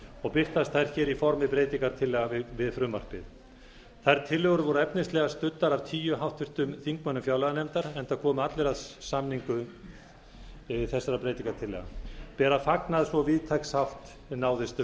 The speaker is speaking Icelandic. og birtast þær hér í formi breytingartillagna við frumvarpið þær tillögur voru efnislega studdar af tíu háttvirtum þingmönnum fjárlaganefndar enda komu allir að samningu þessara breytingartillagna ber að fagna að svo víðtæk sátt næðist um